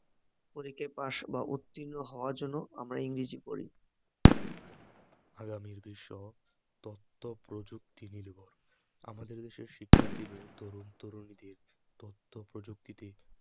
পরীক্ষায় পাস বা উত্তীর্ণ হওয়ার জন্য আমরা ইংরেজি পড়ি আগামীর বিশ্ব তথ্যপ্রযুক্তি নির্ভর আমাদের দেশের শিক্ষার্থীদের, তরুণ তরুণীদের তথ্য প্রযুক্তিতে